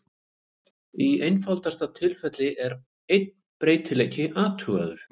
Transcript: Í einfaldasta tilfelli er bara einn breytileiki athugaður.